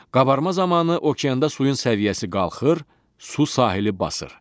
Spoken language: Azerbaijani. Qabarma zamanı okeanda suyun səviyyəsi qalxır, su sahili basır.